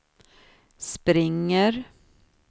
springer